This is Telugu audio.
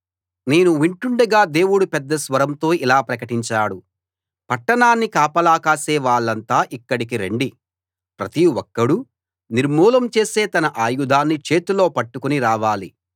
నేను వింటుండగా దేవుడు పెద్ద స్వరంతో ఇలా ప్రకటించాడు పట్టణాన్ని కాపలా కాసే వాళ్ళంతా ఇక్కడికి రండి ప్రతి ఒక్కడూ నిర్మూలం చేసే తన ఆయుధాన్ని చేతిలో పట్టుకుని రావాలి